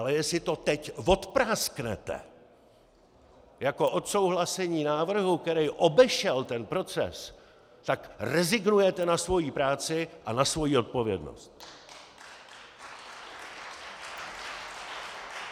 Ale jestli to teď vodprásknete jako odsouhlasení návrhu, který obešel ten proces, tak rezignujete na svoji práci a na svoji odpovědnost!